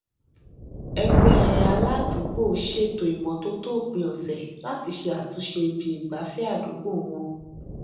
ẹgbé aládùúgbò ṣètò ìmótótó òpin òsè láti ṣe àtúnṣe ibi ìgbafé àdúgbò wọn